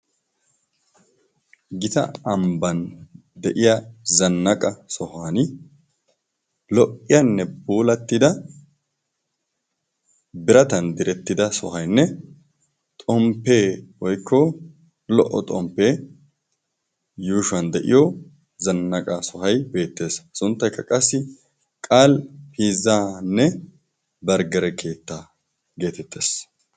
Gita ambban de'iya zannaqa sohan lo"iyaanne bulattida biratan direttida sohaynne xomppee woykko lo"o xomppee yuushuwan de'iyo zannaqa sohai beettees sunttaikka qassi qal pizzaanne barggare keettaa geetettees.